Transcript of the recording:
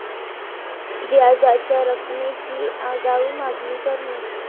व्याजाच्या रकमेची आगाऊ मागणी करणे